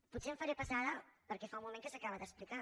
potser em faré pesada perquè fa un moment que s’acaba d’explicar